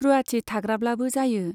रुवाथि थाग्राब्लाबो जायो।